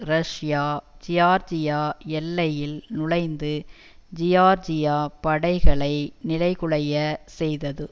Russia ஜியார்ஜிய எல்லையில் நுழைந்து ஜியார்ஜிய படைகளை நிலைகுலைய செய்தது